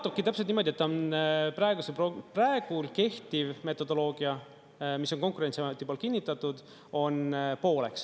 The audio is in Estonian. Jaotubki täpselt niimoodi, et ta on praegu kehtiv metodoloogia, mis on Konkurentsiameti poolt kinnitatud, on pooleks.